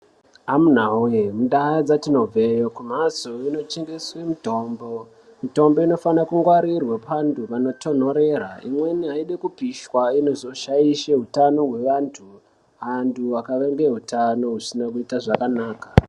Amuna we mundau kwatinobva iyo kumbatso inotengeswa mitombo mitombo inofana kungwarirwa panty panotonerera imweni aidi Kupishwa inozoshaisha hutano hwevantu antu akaimba hutano hunenge husina kunaka.